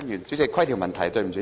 主席，規程問題。